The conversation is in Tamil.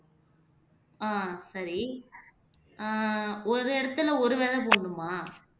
ஆஹ் சரி ஆஹ் ஒரு இடத்துல ஒரு விதை போடணுமா